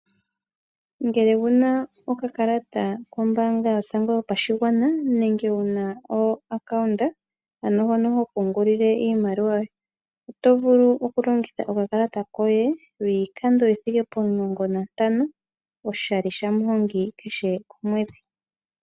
Ngele owuna okakalata kombaanga yotango yopashigwana nenge wuna ompungulilo hono hopungulile iimaliwa yoye oto vulu okulongitha okakalata koye lwiikando omulongo nantano oshali shamuhongi kehe komwedhi.